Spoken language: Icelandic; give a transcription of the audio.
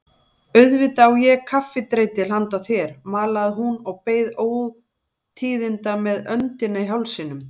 Auðvitað á ég kaffidreitil handa þér malaði hún og beið ótíðindanna með öndina í hálsinum.